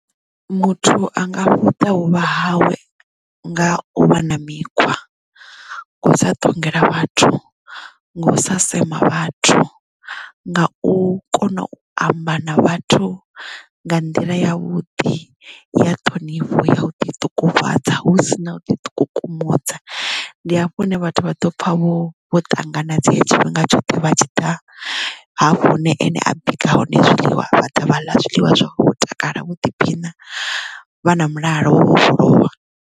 Muthu anga vhuta vhuvha hawe nga u vha na mikhwa u sa ṱongela vhathu nga u sa sema vhathu nga u kona u amba na vhathu nga nḓila ya vhuḓi ya ṱhonifho ya u ḓi ṱungufhadza hu si na u ḓi to ikukumusa ndi hafho hune vhathu vha ḓo pfha vho vho ṱanganedzeya tshifhinga tshoṱhe vha tshi ḓa hafho hune ane a bika hone zwiḽiwa vhaḓa vha ḽa zwiḽiwa vho takala vha ḓiphina vha na mulalo wo vhofholowa.